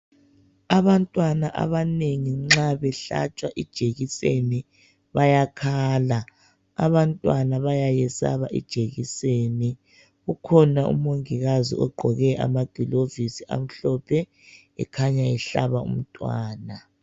Abantwana abanengi nxa behlatshwa ijekiseni bayakhala. Abantwana bayesaba ijekiseni ukhona umongikazi ogqqoke amagilovisi amhlophe ekhanya ehlaba umntwana.